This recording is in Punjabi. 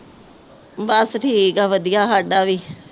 ਬਸ ਠੀਕ ਹੈ ਵਧੀਆ ਸਾਡਾ ਵੀ